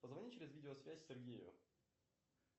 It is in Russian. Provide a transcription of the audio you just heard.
позвони через видео связь сергею